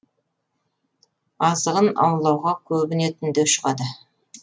азығын аулауға көбіне түнде шығады